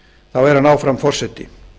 þá er hann áfram forseti